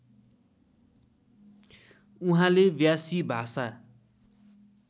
उहाँले व्यासी भाषा